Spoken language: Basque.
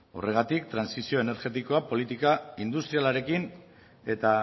horregatik trantsizio energetikoa politika industrialarekin eta